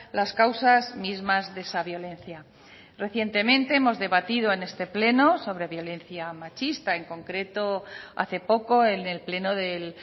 las causas mismas de esa violencia recientemente hemos debatido en este pleno sobre violencia machista en concreto hace poco en el pleno del